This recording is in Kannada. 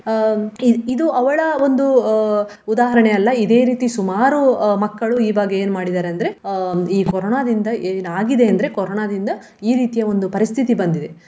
ಅಹ್ ಇ~ ಇದು ಅವಳ ಒಂದು ಅಹ್ ಉದಾಹರಣೆ ಅಲ್ಲ ಇದೆ ರೀತಿ ಸುಮಾರು ಅಹ್ ಮಕ್ಕಳು ಇವಾಗ ಏನ್ ಮಾಡಿದಾರೆ ಅಂದ್ರೆ ಅಹ್ ಈ ಕೊರೋನಾದಿಂದ ಏನಾಗಿದೆ ಅಂದ್ರೆ ಕೊರೋನಾದಿಂದ ಈ ರೀತಿಯ ಒಂದು ಪರಿಸ್ಥಿತಿ ಬಂದಿದೆ.